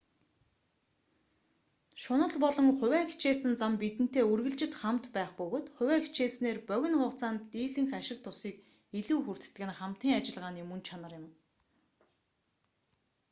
шунал болон хувиа хичээсэн зан бидэнтэй үргэлжид хамт байх бөгөөд хувиа хичээснээр богино хугацаанд дийлэнх ашиг тусыг илүү хүртдэг нь хамтын ажиллагааны мөн чанар юм